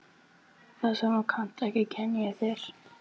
Það sem þú kannt ekki kenni ég þér.